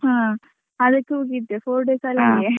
ಹಾ, ಅದಕ್ಕೆ ಹೋಗಿದ್ದೆ four days .